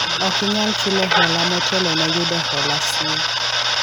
ok inyal chulo hola motelo ne yudo hola siye